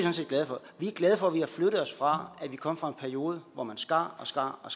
er glade for at vi har flyttet os fra at vi kom fra en periode hvor man skar og skar og